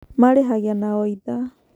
Marĩhagia na o ithaa.